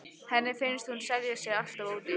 Henni finnst hún selja sig alltof ódýrt.